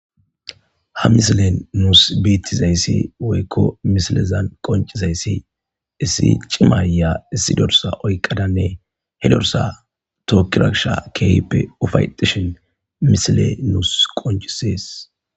ha misilen nuus biittizayssi woykko misilezan qoncizayssi issi cimaya issi dorsa oyqadanne he dorsa tookkiraksha keehippe ufayetishin misile nuus qoncisees